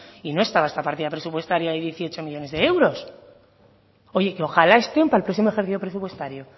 y no estaba esta partida presupuestaria de dieciocho millónes de euros oye que ojalá que estén para el próximo ejercicio presupuestario